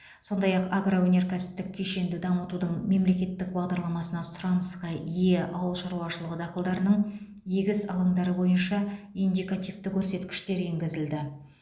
сондай ақ агроөнеркәсіптік кешенді дамытудың мемлекеттік бағдарламасына сұранысқа ие ауыл шаруашылығы дақылдарының егіс алаңдары бойынша индикативті көрсеткіштер енгізілді